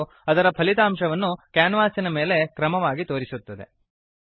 ಮತ್ತು ಅದರ ಫಲಿತಾಂಶವನ್ನು ಕ್ಯಾನ್ವಾಸಿನ ಮೇಲೆ ಕ್ರಮವಾಗಿ ತೋರಿಸುತ್ತದೆ